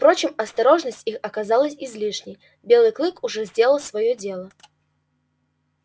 впрочем осторожность их оказалась излишней белый клык уже сделал своё дело